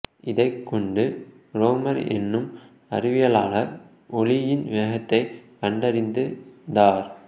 இதைக் கொண்டு ரோமர் என்னும் அறிவியலாளர் ஒளியின் வேகத்தை கண்டறிந்தார்